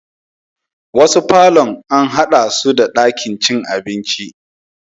Wasu parlourn an haɗa su da ɗakin cin abinci